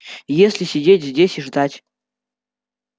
если сидеть здесь и ждать